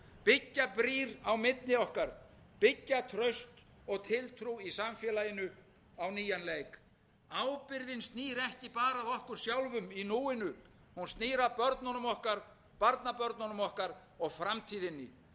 byggja brýr á milli okkar byggja traust og tiltrú í samfélaginu á nýjan leik ábyrgðin snýr ekki bara að okkur sjálfum í núinu hún snýr að börnunum okkar barnabörnum okkar og framtíðinni